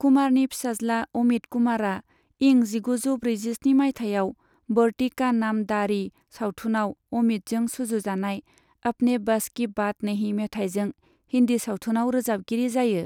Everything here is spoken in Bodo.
कुमारनि फिसाज्ला अमित कुमारा इं जिगुजौ ब्रैजिस्नि माइथायाव बढ़ती का नाम दाढ़ी सावथुनाव अमितजों सुजुजानाय अपने बस कि बात नहीं मेथाइजों हिन्दि सावथुनाव रोजाबगिरि जायो।